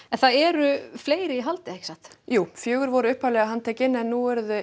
en það eru fleiri í haldi ekki rétt jú fjögur voru handtekin en nú eru